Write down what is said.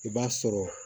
I b'a sɔrɔ